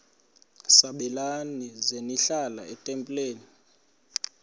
sabelani zenihlal etempileni